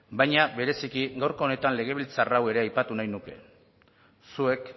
baina bereziki gaurko honetan legebiltzar hau ere aipatu nahi nuke zuek